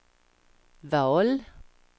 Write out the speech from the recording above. val